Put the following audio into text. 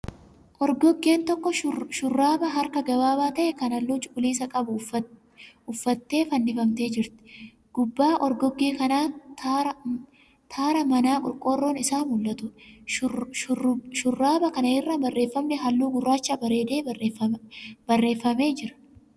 Orgoggeen tokko shurraaba harka gabaabaa ta'e kan halluu cuquliisa qabu uffattee fannifamtee jirti. Gubbaab orgoggee kanaa taara manaa qorqorroon isaa mul'atuudha. Shurraaba kana irra barreeffamni halluu gurraachaa bareedee barreeffamee jira.